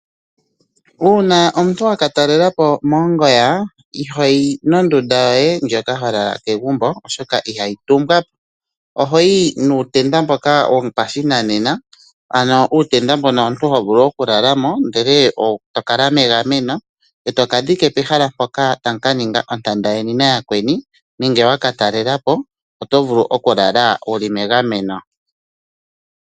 Uuna omuntu waka talela po mongoya, ihoyi nondunda yoye ndjoka ho lala kegumbo oshoka ihayi tumbwa po, ohoyi nuutenda mboka wopashigwana, ano uutenda mbono omuntu ho vulu oku lala mo ndele to kala megameno, e to ka dhinge pehala mpoka tamu ka ninga ontanda yeni na yakweni nenge waka talela po, oto vulu okulala wuli megameno.